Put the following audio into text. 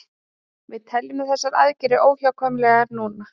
Við teljum þessar aðgerðir óhjákvæmilegar núna